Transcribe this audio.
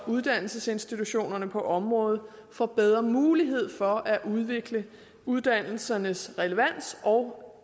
uddannelsesinstitutionerne på området får bedre mulighed for at udvikle uddannelsernes relevans og